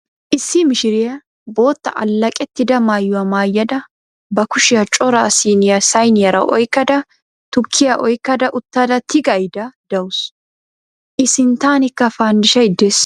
Issi mishiriya bootta alleeqettida mayuwa mayyada ba kushiya cora siiniya sayiniyara oyikkada tukkiya oyikkada uttada tigayidda dawusu. I sinttankka fanddishay des.